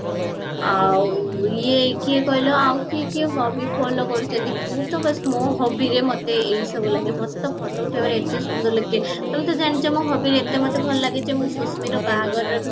ଆଉ ଇଏ କିଏ କହିଲା ଆଉ କିଏ କିଏ follow କରୁଚନ୍ତି ମୁଁ ତ ବାସ ମୋ hobbyରେ ଅମତେ ଏଇ ସବୁ ଲାଗେ ମତେ ତ ଫୋଟୋ ଉଠେଇବାରେ ଏଇ ସବୁ ସୁନ୍ଦର ଲାଗେ ତେଣୁ ତୁମେ ତ ଜାଣିଛ ଆମୋ hobbyରେ ଏତେ ମୋତେ ଭଲ ଲାଗେ ଯେ ମୁଁ ସୁଶ୍ମିର ବାହାଘରରେବି